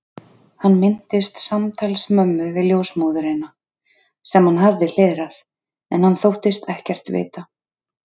Hann minntist samtals mömmu við ljósmóðurina, sem hann hafði hlerað, en hann þóttist ekkert vita.